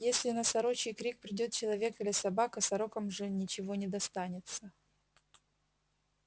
если на сорочий крик придёт человек или собака сорокам же ничего не достанется